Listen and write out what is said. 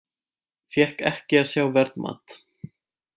Fékk ekki að sjá verðmat